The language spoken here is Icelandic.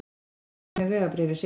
Margrét var með vegabréfið sitt.